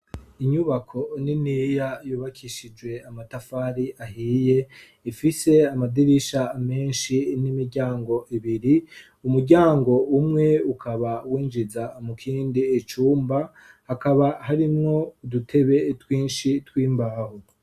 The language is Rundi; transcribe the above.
Inyubako niniya yubakishijwe amatafari ahiye ifise amadirisha menshi n'imiryango ibiri umuryango umwe ukaba winjiza mukindi cumba hakaba harimwo udutebe twinshi tw'imbaho.